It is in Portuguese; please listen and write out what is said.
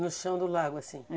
No chão do lago, assim? É.